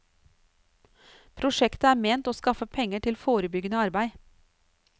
Prosjektet er ment å skaffe penger til forebyggende arbeid.